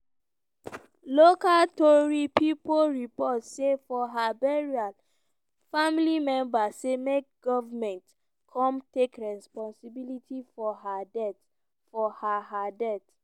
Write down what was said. local tori pipo report say for her burial family members say make goment come take responsibility for her her death.